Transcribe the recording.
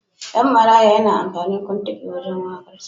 Ɗan Maraya yana amfani kuntugi wurin waƙarsa.